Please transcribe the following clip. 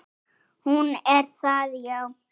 Hún er það, já.